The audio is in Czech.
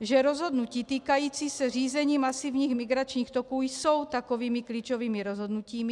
že rozhodnutí týkající se řízení masivních migračních toků jsou takovými klíčovými rozhodnutími;